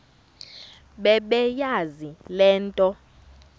bebeyazi le nto